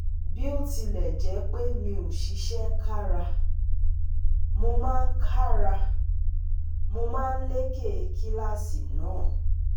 Bó tilẹ̀ jẹ́ pé mi ò ṣiṣẹ́ kára, mo máa kára, mo máa ń leké kíláàsì náà